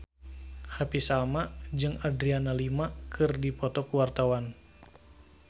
Happy Salma jeung Adriana Lima keur dipoto ku wartawan